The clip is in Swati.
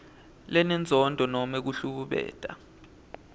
lenenzondo nobe kuhlukumeta